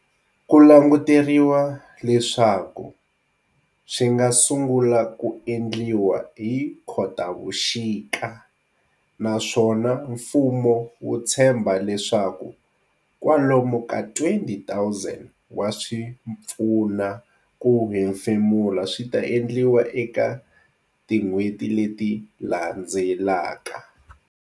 Ku languteriwa leswaku swi nga sungula ku endliwa hi Khotavuxika naswona mfumo wu tshembha leswaku kwalomu ka 20 000 wa swi pfuna ku hemfemula swi ta endliwa eka tin'hweti leti landzelaka.